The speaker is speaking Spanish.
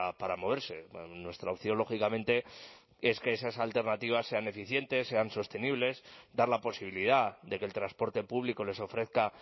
para moverse nuestra opción lógicamente es que esas alternativas sean eficientes sean sostenibles dar la posibilidad de que el transporte público les ofrezca